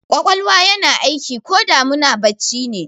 Ƙwaƙwalwa yana aiki koda muna bacci ne